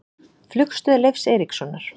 Flugstöð Leifs Eiríkssonar.